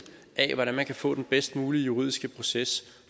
af hvordan man kan få den bedst mulige juridiske proces